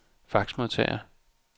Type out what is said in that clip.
faxmodtager